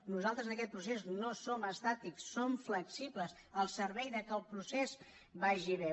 nosaltres en aquest procés no som estàtics som flexibles al servei que el procés vaig bé